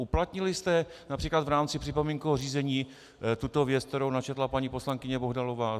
Uplatnili jste například v rámci připomínkového řízení tuto věc, kterou načetla paní poslankyně Bohdalová?